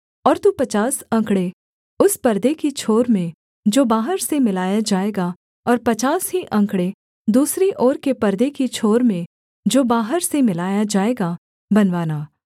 और तू पचास अंकड़े उस परदे की छोर में जो बाहर से मिलाया जाएगा और पचास ही अंकड़े दूसरी ओर के परदे की छोर में जो बाहर से मिलाया जाएगा बनवाना